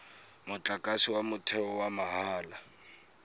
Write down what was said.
motlakase wa motheo wa mahala